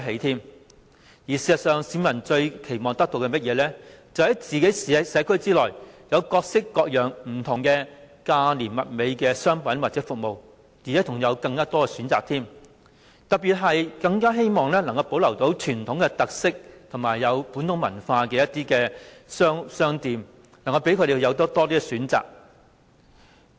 事實上，市民最期望得到的是，在自己的社區內有各式各樣價廉物美的商品或服務，並且有更多選擇，特別是他們更希望能保留傳統特色和本土文化的商店，讓他們有更多選擇。